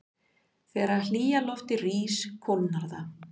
Þegar hlýja loftið rís kólnar það.